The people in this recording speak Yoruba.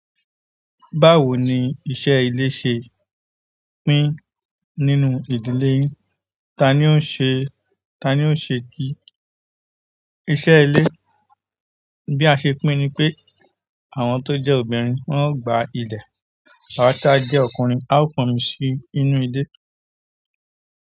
Báwo ni iṣẹ́ ilé ṣe pín nínú ìdílé yín? Tani ó ṣe, tani ó ṣe, i iṣẹ́ ilé? Bí a ṣe pín ni pé àwọn tó jẹ́ obìnrin wọ́n ó gba ilẹ̀, awá tá jẹ́ ọkùnrin, a ó pomi sí inú ilé.